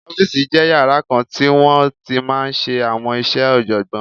Ọ́fìsì jẹ́ yàrá kan tí wọ́n ti máa n ṣe àwọn iṣẹ́ ọ̀jọ̀gbọ́n